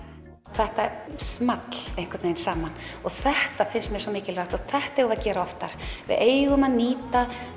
þetta small einhvern veginn saman og þetta finnst mér svo mikilvægt og þetta eigum við að gera oftar við eigum að nýta